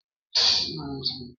Di m ga-egosi m ka e si agba gọfụ